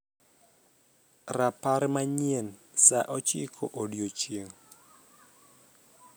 rapar manyien saa ochiko odiechieng